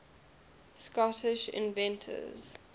scottish inventors